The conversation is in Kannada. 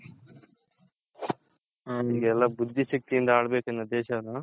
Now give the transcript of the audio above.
ಈಗೆಲ್ಲ ಬುದ್ದಿ ಶಕ್ತಿ ಯಿಂದ ಆಳಬೇಕು ದೇಶವನ್ನ